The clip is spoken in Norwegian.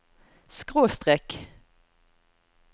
skråstrek